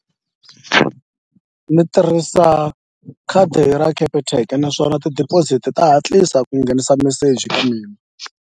Ni tirhisa khadi ra Capitec naswona ti-deposit-i ta hatlisa ku nghenisa meseji ka mina.